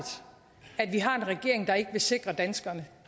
at vi har en regering der ikke vil sikre danskerne